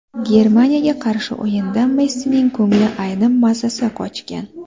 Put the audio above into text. Germaniyaga qarshi o‘yinda Messining ko‘ngli aynib, mazasi qochgan.